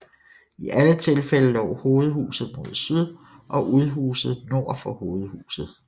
I alle tilfælde lå hovedhuset mod syd og udhuse nord for hovedhuset